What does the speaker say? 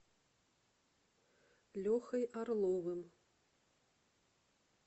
лехой орловым